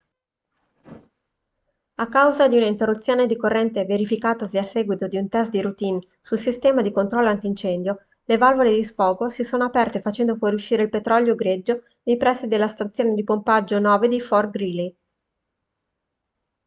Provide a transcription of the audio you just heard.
a causa di un'interruzione di corrente verificatasi a seguito di un test di routine sul sistema di controllo antincendio le valvole di sfogo si sono aperte facendo fuoriuscire il petrolio greggio nei pressi della stazione di pompaggio 9 di fort greely